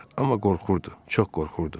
amma qorxurdu, çox qorxurdu.